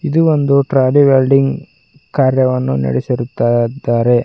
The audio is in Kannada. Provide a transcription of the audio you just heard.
ಇದು ಒಂದು ಟ್ರಾಲಿ ವೆಲ್ಡಿಂಗ್ ಕಾರ್ಯವನ್ನು ನಡೆಸಿರುತ್ತಾ ದಾರೆ.